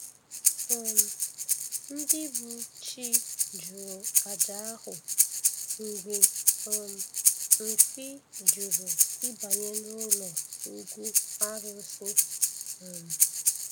um Ndị bụ Chi jụrụ àjà ahụ mgbe um mkpi jụrụ ịbanye n’ụlọ ugwu arusi. um